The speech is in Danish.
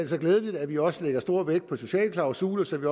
så glædeligt at vi også lægger stor vægt på sociale klausuler så vi